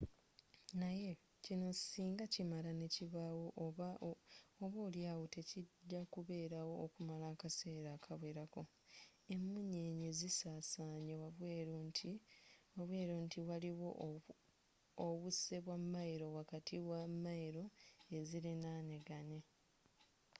naye kino singa kimala nekibaawo oba oli awo tekijja kubeerawo okumala akaseera akawerako.emunyenye zisasanye wabweru nti waliwo obuse bwa mayiro wakati wa mayiro eziliranaganye